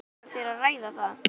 Langar þér að ræða það?